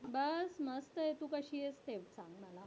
बस मस्त आहे, तू कशी आहेस ते सांग मला.